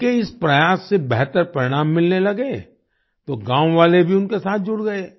उनके इस प्रयास से बेहतर परिणाम मिलने लगे तो गांव वाले भी उनके साथ जुड़ गए